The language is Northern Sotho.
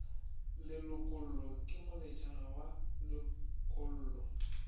lelokollo ke moletšana wa lelokollo